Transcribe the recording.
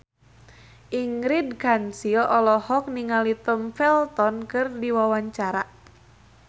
Ingrid Kansil olohok ningali Tom Felton keur diwawancara